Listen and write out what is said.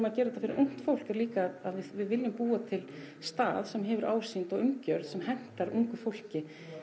að gera þetta fyrir ungt fólk er líka að við viljum búa til stað sem hefur ásýnd og umgjörð sem hentar ungu fólki